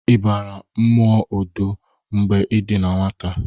Ibara mmụọ odo mgbe i dị na nwata?